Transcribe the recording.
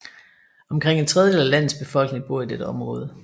Omkring en tredjedel af landets befolkning bor i dette område